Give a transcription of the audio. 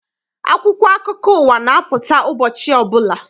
Akwụkwọ akụkọ ụwa na-apụta ụbọchị ọbụla.